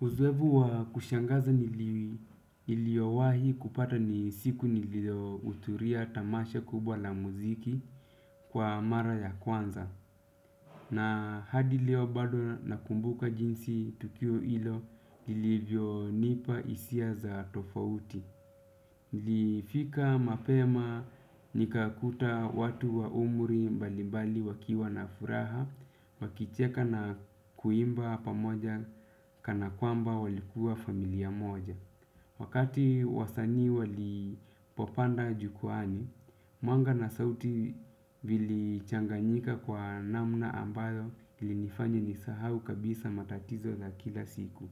Uzoefu wa kushangaza niliowahi kupata ni siku niliohudhuria tamasha kubwa la muziki kwa mara ya kwanza. Na hadi leo bado nakumbuka jinsi tukio hilo ilivyonipa hisia za tofauti. Nilifika mapema nikakuta watu wa umri mbalimbali wakiwa na furaha. Wakicheka na kuimba pamoja kana kwamba walikuwa familia moja. Wakati wasanii walipopanda jukwani mwanga na sauti vilichanganyika kwa namna ambayo lilifanya nisahau kabisa matatizo za kila siku.